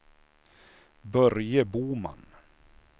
Börje Boman